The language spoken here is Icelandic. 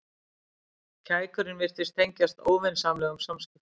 Kækurinn virtist tengjast óvinsamlegum samskiptum.